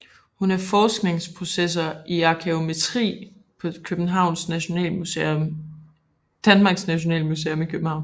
Hun er forskningsprofessor i arkæometri på Danmarks Nationalmuseum i København